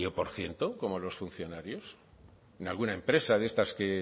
por ciento como los funcionarios en alguna empresa de estas